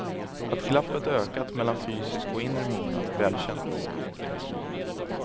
Att glappet ökat mellan fysisk och inre mognad är välkänt.